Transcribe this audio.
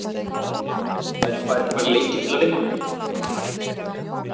Menn færu bara í alla leiki til að vinna.